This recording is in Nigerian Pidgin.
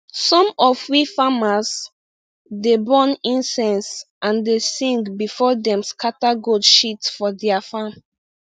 some of we farmers dey burn incense and dey sing before dem scatter goat shit for dia farm